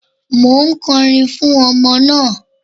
Mò ń kọrin fún ọmọ náà.